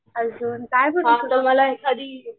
अजून तुम्हाला काय